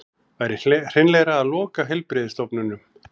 Væri hreinlegra að loka heilbrigðisstofnunum